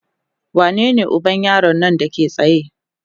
wanene uban yaron Nan Dake tsaye?